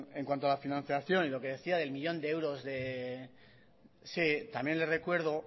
en cuanto a la financiación y lo que decía del millón de euros sí también le recuerdo